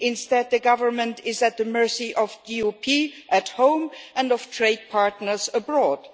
instead, the government is at the mercy of the DUP at home, and of trade partners abroad.